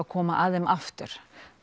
koma að þeim aftur